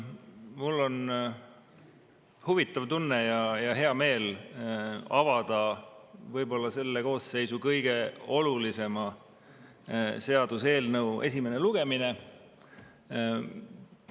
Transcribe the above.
Mul on huvitav tunne ja hea meel avada võib-olla selle koosseisu kõige olulisema seaduse eelnõu esimene lugemine.